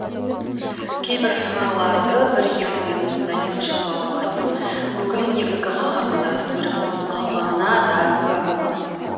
кейбір жырларды бір елдің эпосында екінші бауырластың өкілі негізгі қаһармандардың бірі болып қалғанына де куә боламыз